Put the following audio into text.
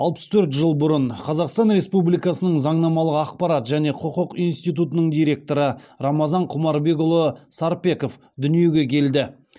алпыс төрт жыл бұрын қазақстан республикасының заңнамалық ақпарат және құқық институтының директоры рамазан құмарбекұлы сарпеков дүниеге келді